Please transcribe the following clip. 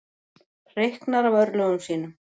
Hreyknar af örlögum sínum.